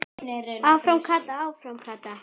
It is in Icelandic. Áfram Kata, áfram Kata!